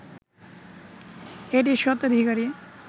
এটির স্বত্বাধিকারী